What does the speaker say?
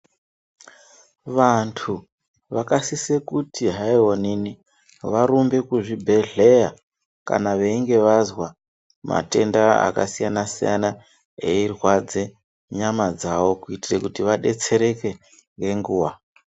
Vantu vakasise kuti hayi onini, varumbe kuzvibhedhleya kana veyinge vazwa matenda akasiyana-siyana eyi rwadze nyama dzavo, kuyitire kuti vadetsereke nenguwa.